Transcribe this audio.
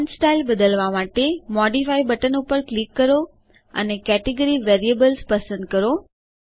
font style બદલવા માટેModify button ઉપર ક્લિક કરો અને કેટેગરી વેરિએબલ્સ પસંદ કરો